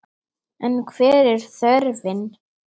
En hver er þörfin?